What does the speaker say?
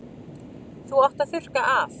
Þú átt að þurrka af.